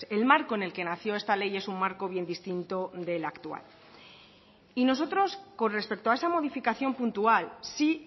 el marco en el que nació esta ley es un marco bien distinto del actual y nosotros con respecto a esa modificación puntual sí